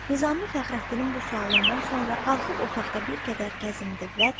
Nizami Fəxrəddinin bu sualından sonra qalxıb otaqda bir qədər gəzindi və dedi.